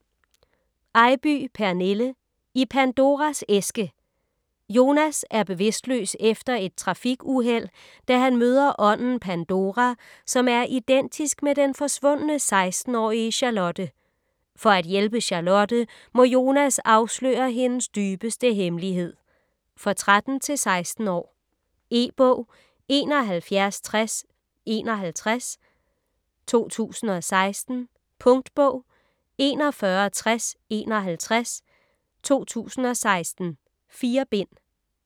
Eybye, Pernille: I Pandoras æske Jonas er bevidstløs efter et trafikuheld, da han møder ånden Pandora, som er identisk med den forsvundne 16-årige Charlotte. For at hjælpe Charlotte må Jonas afsløre hendes dybeste hemmelighed. For 13-16 år. E-bog 716051 2016. Punktbog 416051 2016. 4 bind.